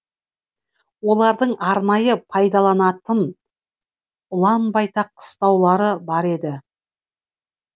олардың арнайы пайдаланатын ұлан байтақ қыстаулары бар еді